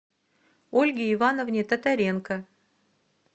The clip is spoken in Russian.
ольге ивановне татаренко